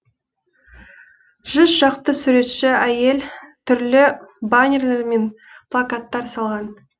жүз шақты суретші әйел түрлі баннерлер мен плакаттар салған